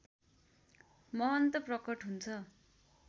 महन्त प्रकट हुन्छ